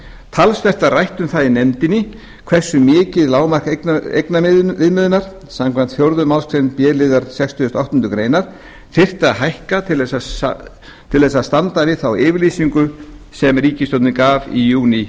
talsvert var rætt um það í nefndinni hversu mikið lágmark eignaviðmiðunar samkvæmt fjórðu málsgrein b liðar sextugustu og áttundu grein þyrfti að hækka til að standa við þá yfirlýsingu sem ríkissjórnin gaf í júní